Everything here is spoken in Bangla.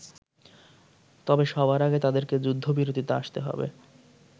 তবে সবার আগে তাদেরকে যুদ্ধবিরতিতে আসতে হবে।